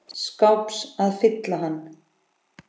skáps að fylla hann.